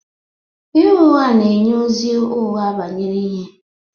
Ịgha ụgha na-enye ozi ụgha banyere ihe